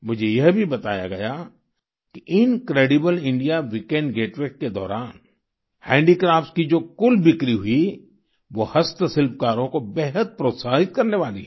मुझे यह भी बताया गया कि इनक्रेडिबल इंडिया वीकेंड गेटावेज के दौरान हैंडीक्राफ्ट्स की जो कुल बिक्री हुई वो हस्त शिल्पकारों को बेहद प्रोत्साहित करने वाली है